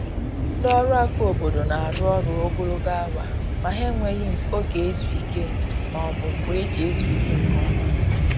Ndị ọrụ aka obodo na-arụ ọrụ ogologo awa, ma ha enweghi oge izu ike ma ọ bụ mgbe eji ezu ike nke ọma